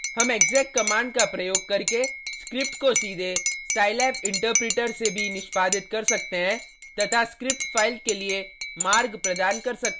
हम exec command का प्रयोग करके स्क्रिप्ट को सीधे scilab interpreter से भी निष्पादित कर सकते हैं तथा स्क्रिप्ट फाइल के लिए मार्ग प्रदान करते हैं: